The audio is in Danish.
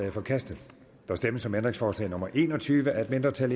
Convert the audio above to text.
er forkastet der stemmes om ændringsforslag nummer en og tyve af et mindretal